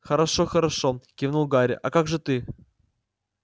хорошо-хорошо кивнул гарри а как же ты